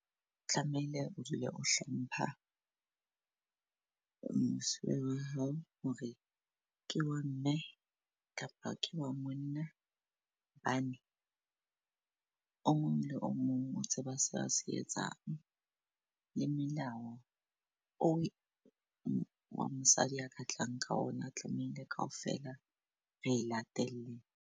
Tlamehile o dule o hlompha mosuwe wa hao hore ke wa mme kapa ke wa monna. Hobane o mong le o mong o tseba sena se a se etsang le melao eo wa mosadi a ka tlang ka ona tlamehile kaofela re e latele.